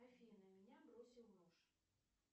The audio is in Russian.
афина меня бросил муж